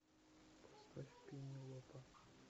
поставь пенелопа